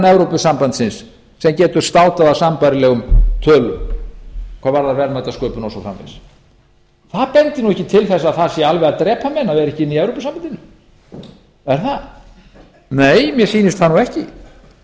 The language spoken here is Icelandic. evrópusambandsins sem getur státað af sambærilegum tölum hvað varðar verðmætasköpun og svo framvegis það bendir ekki til þess að það sé alveg að drepa menn að vera ekki inni í evrópusambandinu er það nei mér sýnist það ekki ég veit